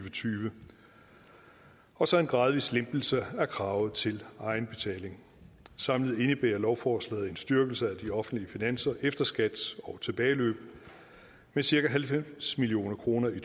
og tyve og så en gradvis lempelse af kravet til egenbetaling samlet indebærer lovforslaget en styrkelse af de offentlige finanser efter skat og tilbageløb med cirka halvfems million kroner i